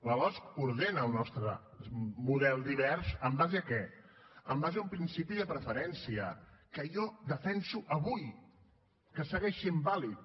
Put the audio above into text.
la losc ordena el nostre model divers amb base en què amb base en un principi de preferència que jo defenso avui que segueix sent vàlid